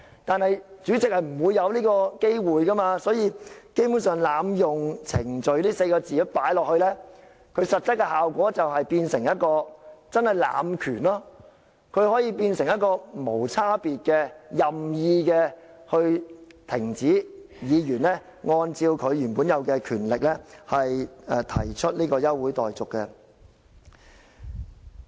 但是，主席是不會有這機會的，所以加入"濫用程序"這4個字的實則效果就是濫權，可以變成無差別的、任意停止議員按照他原有權力提出現即休會待續議案。